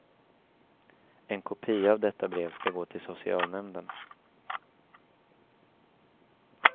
En kopia av detta brev skall gå till socialnämnden.